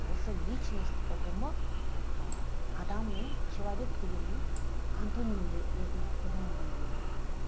осы личность ұғымы ы адамның человек дегеннің антоним ретінде қолданылған дүние